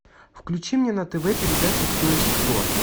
включи мне на тв передачу кто есть кто